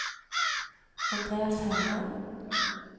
Andreas Herland